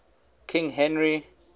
king henry